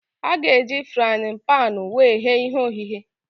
A ga-eji fraaịn panu wee ghee ihe ogheghe